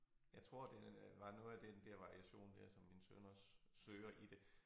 Jeg tror det øh var noget af den der variation der som min søn også søger i det